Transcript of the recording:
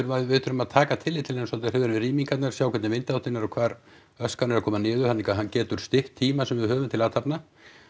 við þurfum að taka tillit til hennar svolítið við rýmingarnar sjá hvernig vindáttin er og hvar askan er að koma niður það líka hún getur stytt tímann sem við höfum til athafna